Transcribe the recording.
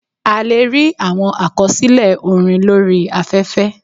A lè rí àwọn àkọsílẹ̀ orin lórí I afẹ́fẹ́.